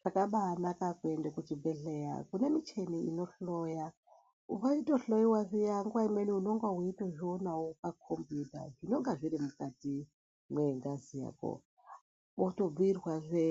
Zvakabanaka kuende kuchibhedhleya kune michini inohloya, weitohloyiwa zviya nguwa imweni unenge weitozvionawo pakombiyuta zvinonga zviri mukati mwengazi yako, wotobhiirwazve